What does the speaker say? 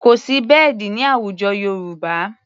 Kò sí bẹ́ẹ̀dì ní àwùjọ Yorùbá.